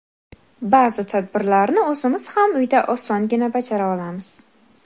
Ba’zi tadbirlarni o‘zimiz ham uyda osongina bajara olamiz.